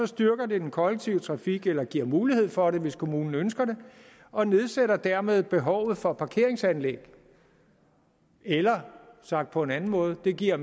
styrker det den kollektive trafik eller giver mulighed for det hvis kommunen ønsker det og nedsætter dermed behovet for parkeringsanlæg eller sagt på en anden måde giver